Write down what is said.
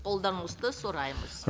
қолдауыңызды сұраймыз